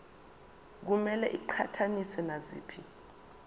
kumele iqhathaniswe naziphi